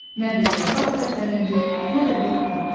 Nə bir yarpaq tərpənirdi, nə də bir ot.